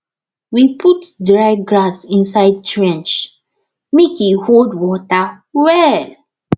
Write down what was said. we put dry grass inside trench make e hold water well